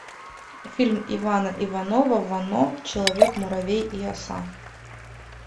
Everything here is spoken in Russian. фильм ивана иванова вано человек муравей и оса